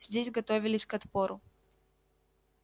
здесь готовились к отпору